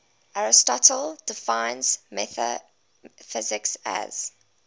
aristotle defines metaphysics as